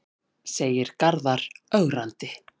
segir Garðar ögrandi.